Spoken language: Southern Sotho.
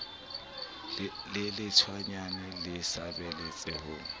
le lehwatatanyana le saballetse ho